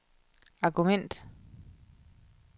argument